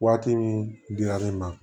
Waati min dila ne ma